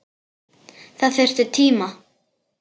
Það þurfti tíma.